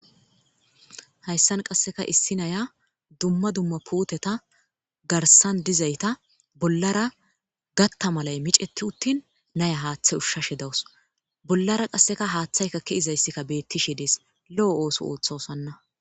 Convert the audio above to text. Hayssan qasseka issi naya dumma dumma puuteta garsan dizayta bollara gatta malay miceti uttin naya haaththay ushshashe dawus bollara qasseka haaththaykakki izayssikka beettishe dees lo'o ooso ooththosanna.